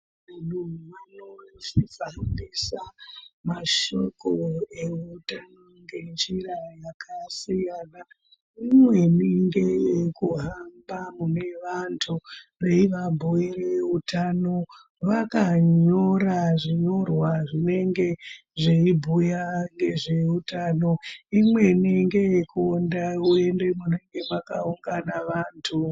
Ndondo vanosisa kuhambisa mashoko eutano ngenjira yakasiyana imweni ngeye kuhamba mune vantu veivabhuire utano vakanyora zvinyorwa zvinenge zveibhuya ngeutano imweni ngeyekuende uende mune mwakaungana vantu.